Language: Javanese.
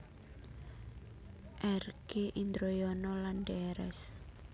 R G Indroyono lan Drs